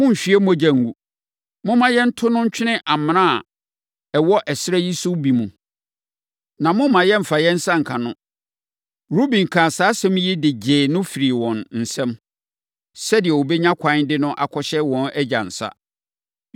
Monnhwie mogya ngu. Momma yɛnto no ntwene amena a ɛwɔ ɛserɛ yi so no bi mu. Na mommma yɛmfa yɛn nsa nka no.” Ruben kaa saa asɛm yi de gyee no firii wɔn nsam, sɛdeɛ ɔbɛnya ɛkwan de no akɔhyɛ wɔn agya nsa.